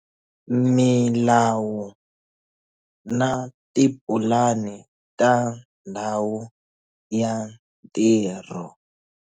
Milawu na tipulani ta ndhawu ya ntirho.